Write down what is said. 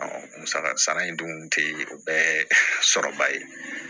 musaka sara sara in dun tɛ o bɛɛ ye sɔrɔba ye